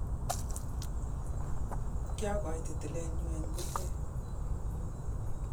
kiokoite tileenyu ang kurkee